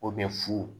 O bɛ fu